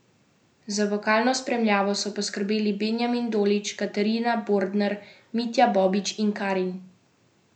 Za vokalno spremljavo so poskrbeli Benjamin Dolić, Katarina Bordner, Mitja Bobič in Karin Zemljič.